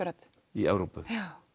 í Evrópu